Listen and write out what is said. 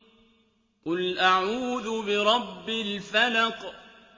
قُلْ أَعُوذُ بِرَبِّ الْفَلَقِ